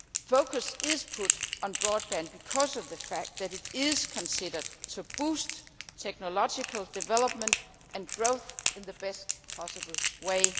Focus is put on broadband, because of the fact that it is considered to boost technological development and growth in the best possible way.